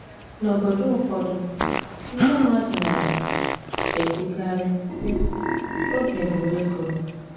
N’obodo ụfọdụ, ndị mmadụ na - ekwukarị, sị, Oge bụ ego.